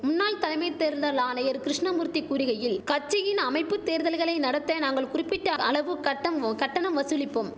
முன்னாள் தலைமை தேர்தல் ஆணையர் கிருஷ்ணமூர்த்தி கூறிகையில் கட்சியின் அமைப்பு தேர்தல்களை நடத்த நாங்கள் குறிப்பிட்ட அளவு கட்டம் கட்டணம் வசூலிப்போம்